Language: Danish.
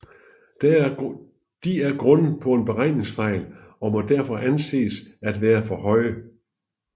De er grundet på en beregningsfejl og må derfor anses at være for høje